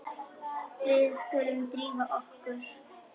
Við skulum drífa okkur.